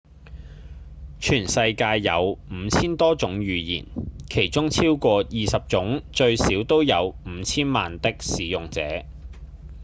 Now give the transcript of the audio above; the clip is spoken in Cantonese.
全世界有五千多種語言其中超過二十種最少都有五千萬的使用者